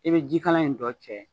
I bɛ jikalan in dɔ cɛ